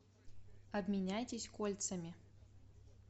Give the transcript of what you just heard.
обменяйтесь кольцами